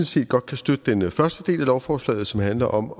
set godt kan støtte den første del af lovforslaget som handler om